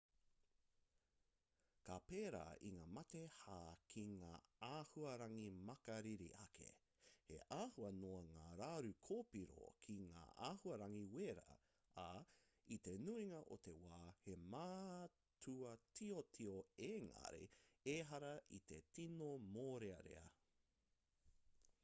ka pērā i ngā mate hā ki ngā āhuarangi makariri ake he āhua noa ngā raru kōpiro ki ngā āhuarangi wera ā i te nuinga o te wā he mātua tiotio engari ehara i te tino mōrearea